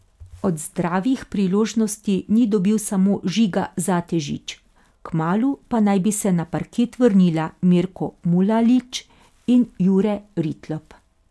Od zdravih priložnosti ni dobil samo Žiga Zatežič, kmalu pa naj bi se na parket vrnila Mirko Mulalić in Jure Ritlop.